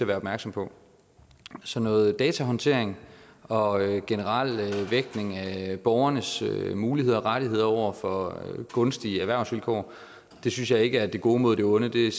være opmærksom på så noget datahåndtering og generel vægtning af borgernes muligheder og rettigheder over for gunstige erhvervsvilkår synes jeg ikke er det gode mod det onde det er